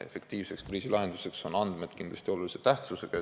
Efektiivseks kriisi lahendamiseks on oluline tähtsus andmetel.